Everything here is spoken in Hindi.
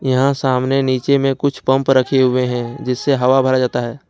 यहां सामने नीचे में कुछ पंप रखे हुए हैं जिससे हवा भरा जाता है।